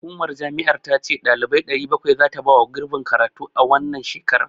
Hukumar jama'ar ta ce ɗalibai 700 zata bawa gurbin karatu a wannan shekarar.